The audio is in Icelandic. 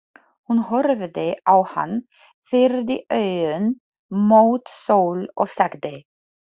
Hún horfði á hann, pírði augun mót sól og sagði: